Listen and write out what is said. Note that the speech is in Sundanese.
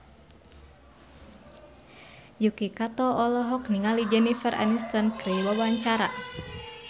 Yuki Kato olohok ningali Jennifer Aniston keur diwawancara